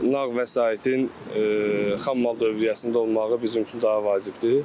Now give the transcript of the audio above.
Nağd vəsaitin xammal dövriyyəsində olmağı bizim üçün daha vacibdir.